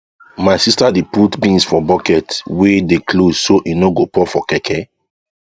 my sister dey put beans for bucket wey dey close so e no go pour for keke